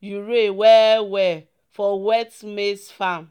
urea well-well for wet maize farm."